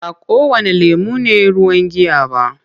Ba kowanne lemon ne ruwan giya ba.